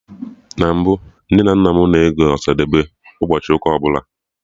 Na mbụ, Nne na nna m na-ege Ọsadebe ụbọchị ụka ọbụla